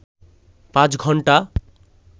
৫ ঘন্টা